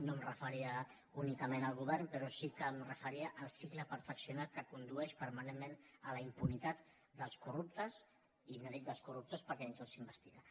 no em referia únicament al govern però sí que em referia al cicle perfeccionat que condueix permanentment a la impunitat dels corruptes i no dic dels corruptors perquè ni tan sols s’investiga